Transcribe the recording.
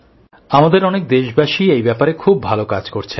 আমাদের অনেক দেশবাসী এই ব্যাপারে খুব ভালো কাজ করছেন